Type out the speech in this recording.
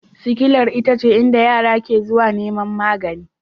Sikilar ita ce inda yara ke zuwa neman magani